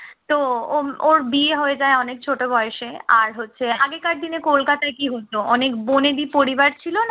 তো ওর বিয়ে হয়ে যায় অনেক ছোট বয়সে আর হচ্ছে আগেকার দিনে কলকাতায় কি হতো অনেক বনেদি পরিবার ছিল